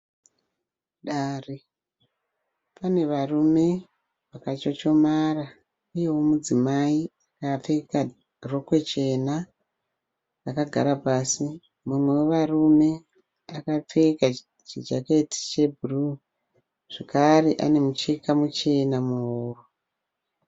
Padare, panevarume vakachochomara, uyewo mudzimai akapfeka rokwe chena akagara pasi. Mumwe wemurume akapfeka chijaketi chebhuruwu, zvakare anemucheka muchena muhuro.